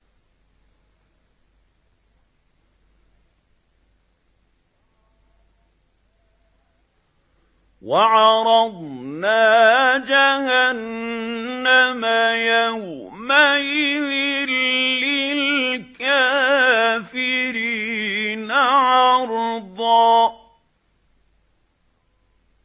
وَعَرَضْنَا جَهَنَّمَ يَوْمَئِذٍ لِّلْكَافِرِينَ عَرْضًا